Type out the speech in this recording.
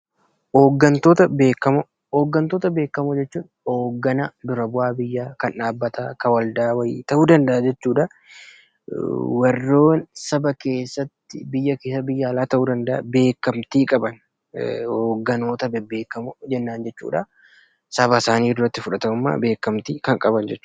Hoggantoota Beekamoo: Jechuun hogganaa, dura bu'aa biyyaa, kan dhaabbataa, kan waldaa wayii ta'uu danda’a jechuudha. Warreen saba keessattii, biyya keessaa, biyya alaa ta'uu danda’a beelamtii qaban hoggantoota beekamoo jennaani jechudha. Saba isaanii duratti fudhatamummaa, beekamtii kan qaban jechuudha.